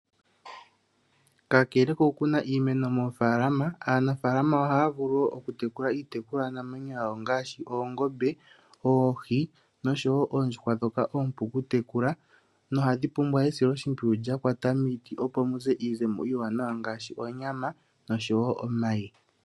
Kakele kokuna iimeno moofaalama aanafaalama ohaya vulu wo okutekula iitekulwanamwenyo yawo ngaashi oongombe, oohi nosho oondjuhwa ndhoka oompu kutekula nohadhi pumbwa esiloshimpwiyu lya kwata miiti opo mu ze iizemo ngaashi oonyama noshowo omayi.